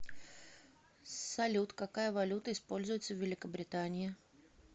салют какая валюта используется в великобритании